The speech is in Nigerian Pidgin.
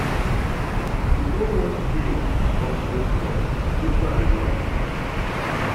To go watch film or to go club, which one you wan make we do?